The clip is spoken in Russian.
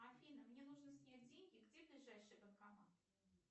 афина мне нужно снять деньги где ближайший банкомат